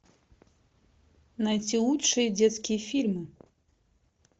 найти лучшие детские фильмы